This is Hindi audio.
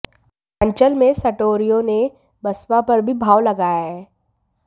अंचल में सटोरियों ने बसपा पर भी भाव लगाया है